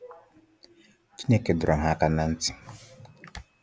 Chineke dọrọ ha aka na ntị